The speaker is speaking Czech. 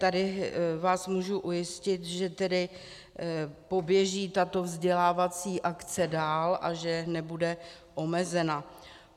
Tady vás můžu ujistit, že tedy poběží tato vzdělávací akce dál a že nebude omezena.